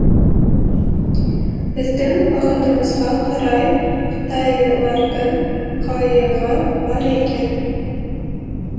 біздің бақытымызға қарай қытайлардың қайығы бар екен